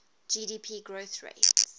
gdp growth rates